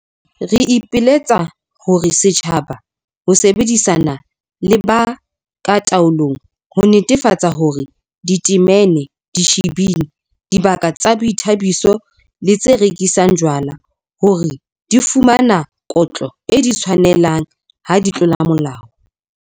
Re ipiletsa ho setjhaba ho sebedisana le ba ka taolong ho netefatsa hore ditamene, dishibini, dibaka tsa boithabiso le tse rekisang jwala hore di fumana kotlo e di tshwanelang ha di tlola molao.